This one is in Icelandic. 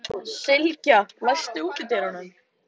Sylgja, læstu útidyrunum.